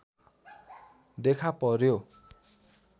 देखा पर्‍यो